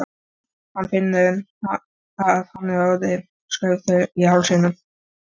Hann finnur að hann er orðinn skraufþurr í hálsinum.